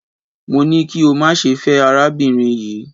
Mo ní kí o má ṣe fẹ́ arábìnrin yii